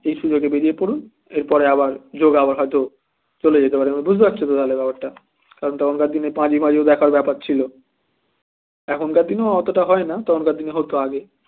এই সুযোগে বেরিয়ে পড়ুন এরপরে আবার যোগ আবার হয়তো চলে যেতে পারে বুঝতে পার তো তাহলে ব্যাপারটা কারণ তখনকার দিনে পাজি পুজি দেখারও ব্যাপার ছিল এখনকার দিনে এতটা হয় না তখনকার দিনে হতো আগে